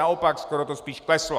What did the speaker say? Naopak, skoro to spíš kleslo.